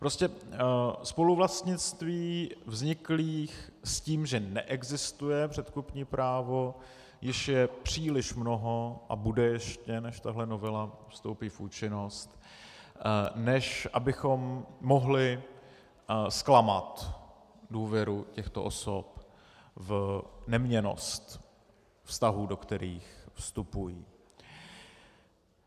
Prostě spoluvlastnictví vzniklých s tím, že neexistuje předkupní právo, již je příliš mnoho, a bude ještě, než tahle novela vstoupí v účinnost, než abychom mohli zklamat důvěru těchto osob v neměnnost vztahů, do kterých vstupují.